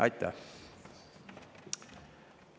Aitäh!